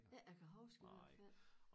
Ikke jeg kan huske i hvert fald